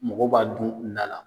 Mɔgɔ b'a dun la.